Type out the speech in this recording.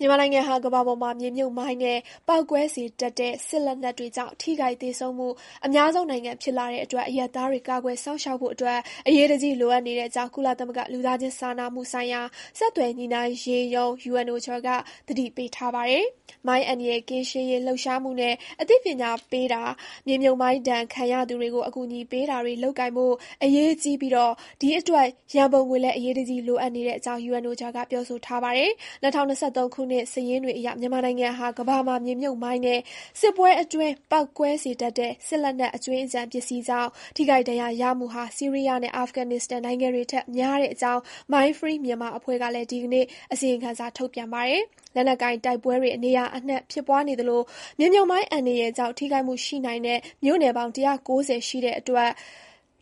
မြန်မာနိုင်ငံဟာ ကမ္ဘာပေါ်မှာ မြေမြှုပ်မိုင်းနဲ့ပေါက်ကွဲစေတတ်သောစစ်လက်နက်တွေကြောင့် ထိခိုက်သေဆုံးမှု အများဆုံးနိုင်ငံဖြစ်လာတဲ့အတွက် အရပ်သားတွေကိုကာကယ်စောင့်ရှောက်ပေးဖို့ အရေးတကြီး လိုအပ်နေကြောင်း ကုလသမဂ္ဂ လူသားချင်းစာနာမှုဆိုင်ရာ ဆက်သွယ်ညှိနှိုင်းရေးရုံး UNOCHA က သတိပေးထားပါတယ်။ မိုင်းအန္တရာယ်ကင်းရှင်းရေးလှုပ်ရှားမှုနဲ့ အသိပညာပေးတာ၊ မြေမြှုပ်မိုင်းဒဏ်ခံရသူတွေကို အကူအညီပေးတာ တွေလုပ်ကိုင်ဖို့ အရေးကြီးပြီး ဒီအတွက် ရံပုံငွေလည်း အရေးတကြီးလိုအပ်နေတဲ့အကြောင်း UNOCHA က ပြောဆိုထားပါတယ်။ ၂၀၂၃ ခုနှစ် စာရင်းတွေအရ မြန်မာနိုင်ငံဟာ ကမ္ဘာမှာ မြေမြှုပ်မိုင်းနဲ့ စစ်ပွဲအတွင်း ပေါက်ကွဲစေတတ်တဲ့ စစ်လက်နက်အကြွင်းအကျန်ပစ္စည်းတွေကြောင့် ထိခိုက်ဒဏ်ရာရမှုဟာ ဆီးရီးယားနဲ့ အာဖဂန်နစ္စတန်နိုင်ငံ တွေထက်များကြောင်း Mine Free Myanmar အဖွဲ့ကလည်း ဒီနေ့ အစီရင်ခံစာ ထုတ်ပြန်ပါတယ်။ လက်နက်ကိုင်တိုက်ပွဲတွေ နေရာအနှံ့ဖြစ်ပွားနေသလို မြေမြှုပ်မိုင်းအန္တရာယ်ကြောင့် ထိခိုက်မှု ရှိနိုင်တဲ့ မြို့နယ်ပေါင်း ၁၉၀ ရှိတဲ့အတွက်